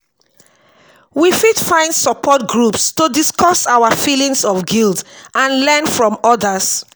we fit find support groups to discuss our feelings of guilt and learn from others.